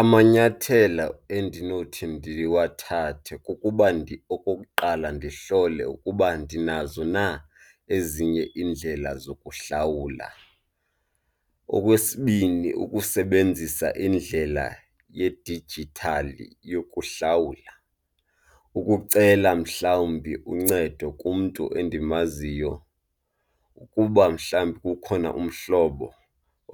Amanyathelo endinothi ndiwathathe kukuba okokuqala ndihlole ukuba ndinazo na ezinye iindlela zokuhlawula. Okwesibini, ukusebenzisa iindlela yedijithali yokuhlawula, ukucela mhlawumbi uncedo kumntu endimaziyo ukuba mhlawumbi kukhona umhlobo